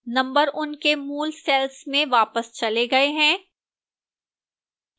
numbers उनके मूल cells में वापस चले गए हैं